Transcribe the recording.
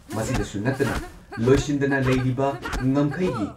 ꯃꯁꯤꯗꯁꯨ ꯅꯠꯇꯅ ꯂꯣꯏꯁꯤꯟꯗꯅ ꯂꯩꯔꯤꯕ ꯉꯝꯈꯩꯒꯤ